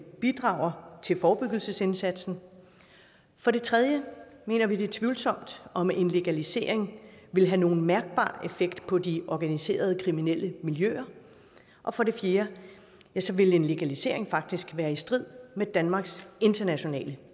bidrager til forebyggelsesindsatsen for det tredje mener vi det er tvivlsomt om en legalisering vil have nogen mærkbar effekt på de organiserede kriminelle miljøer og for det fjerde vil en legalisering faktisk være i strid med danmarks internationale